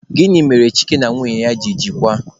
Gịnị mere Chike na nwunye ya ji kewaa?